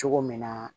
Cogo min na